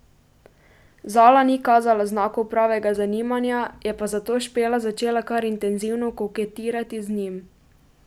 Zala ni kazala znakov pravega zanimanja, je pa zato Špela začela kar intenzivno koketirati z njim.